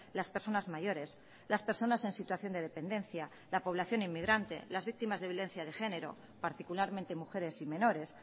las personas mayores las personas en situación de dependencia la población inmigrante las víctimas de violencia de género particularmente mujeres y menores